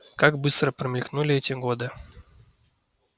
как быстро промелькнули эти годы